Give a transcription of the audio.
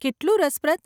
કેટલું રસપ્રદ !